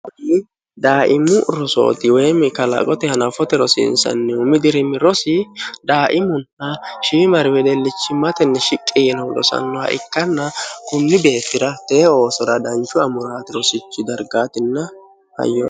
daaimmu rosooti weyi mikalaqote hanafote rosiinsannihu mi dirimi rosi daaimunna shiimari wedeellichimmatenni shiqqi yinoho losannoha ikkanna kunni beettira teeoosora danchu amuraati rosichi dargaatinna hayyoo